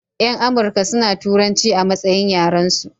Yan amurka suna turanci a matsayin yaran su